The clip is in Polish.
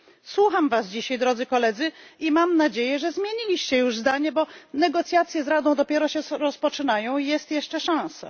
Słucham was dzisiaj drodzy koledzy i mam nadzieję, że zmieniliście już zdanie, bo negocjacje z Radą dopiero się rozpoczynają, jest jeszcze szansa.